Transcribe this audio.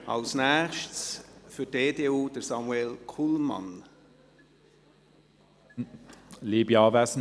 ( Als Nächstes hat für die EDU Grossrat Kullmann das Wort.